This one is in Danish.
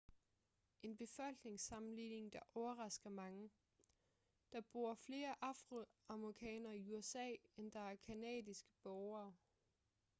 en befolkningssammenligning der overrasker mange der bor flere afroamerikanere i usa end der er canadiske borgere